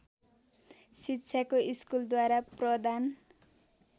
शिक्षाको स्कूलद्वारा प्रदान